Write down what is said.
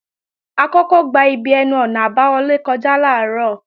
A kọ́kọ́ gba ibi ẹnu-ọ̀nà àbáwọlé kọjá làárọ̀